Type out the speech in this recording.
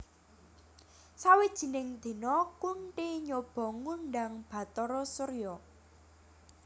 Sawijining dina Kunthi nyoba ngundhang Bathara Surya